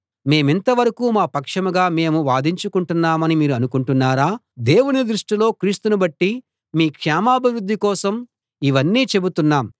మేమింత వరకూ మా పక్షంగా మేము వాదించుకుంటున్నామని మీరు అనుకుంటున్నారా దేవుని దృష్టిలో క్రీస్తును బట్టి మీ క్షేమాభివృద్ధి కోసం ఇవన్నీ చెబుతున్నాం